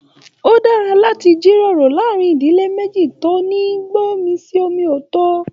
O dára láti jíròrò láàrin ìdílé meji tó ní gbọ̀nmisi-omi-o-to.